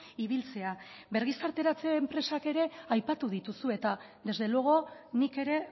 ibiltzea birgizarteratze enpresak ere aipatu dituzu eta desde luego nik ere